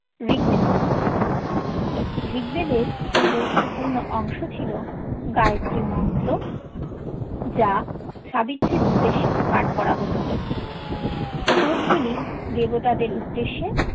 ঋগবেদের মধ্যে ঋগবেদের গুরুত্বপূর্ণ অন্গ্সো ছিল গায়ত্রী মন্ত্র যা সাবিত্রির উদ্দেশে পাথ কোরা হোতো শ্লোকগুলি দেবতাদের উদ্দেশে